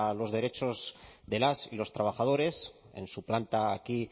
los derechos de las y los trabajadores en su planta aquí